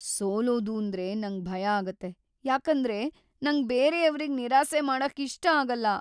ಸೋಲೋದೂಂದ್ರೆ ನಂಗ್ ಭಯ ಆಗತ್ತೆ, ಯಾಕಂದ್ರೆ, ನಂಗ್ ಬೇರೇವ್ರಿಗ್ ನಿರಾಸೆ ಮಾಡಕ್ ಇಷ್ಟ ಆಗಲ್ಲ.